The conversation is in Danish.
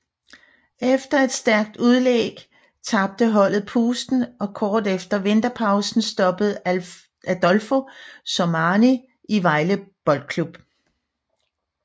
Efter et stærkt udlæg tabte holdet pusten og kort efter vinterpausen stoppede Adolfo Sormani i Vejle Boldklub